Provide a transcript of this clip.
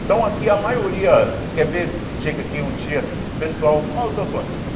Então aqui a maioria, você quer ver, chega aqui um dia, o pessoal, qual é o seu sonho?